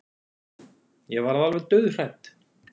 Ég varð alveg dauðhrædd.